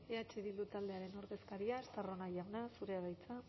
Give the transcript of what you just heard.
eh bildu taldearen ordezkaria estarrona jauna zurea da hitza